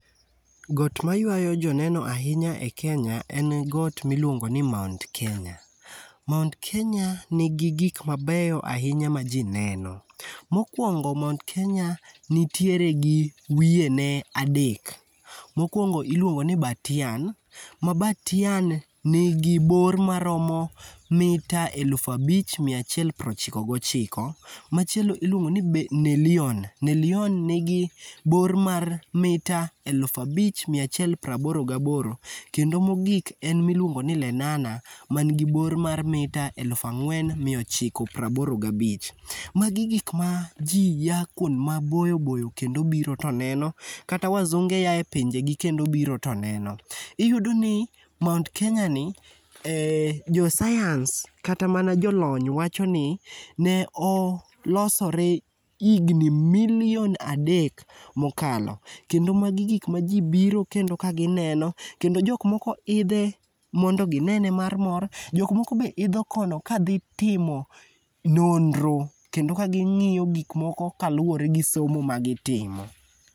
Got maywayo joneno ahinya e Kenya en got miluongo ni Mount Kenya. Mount Kenya nigi gik mabeyo ahinya ma ji neno. Mokwongo Mount Kenya nitiere gi wiyene adek. Mokwongo iluongo ni Batian, ma Batian nigi bor maromo metre eluf abich miya achiel prochiko gochiko. Machielo ilwongo ni Nelion. Nelion negi bor mar metre eluf abich miya achiel praboro gaboro. Kendo mogik en miluongoni Lenana manigi bor mar metre eluf ang'wen miya ochiko praboro gabich. Magi gik ma ji ya kwond maboyo boyo kendo biro to neno. Kata wazunge yae pinjegi kendo biro to neno. Iyudoni Mount Kenya ni, josayans kata mana jolony wacho ni ne olosore higni milion adek mokalo, kendo magi gik ma ji biro kendo ka gineno, kendo jok moko idhe mondo ginene mar mor. Jok moko be idho kono kadhi timo nonro kendo ka ging'iyo gikmoko kaluwore gi somo magitimo.